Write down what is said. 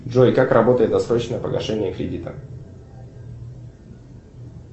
джой как работает досрочное погашение кредита